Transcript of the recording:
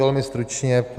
Velmi stručně.